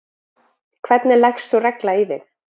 hvernig leggst sú regla í þig?